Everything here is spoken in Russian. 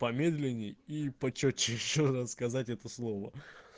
помедленней и почётче ещё раз надо сказать это слово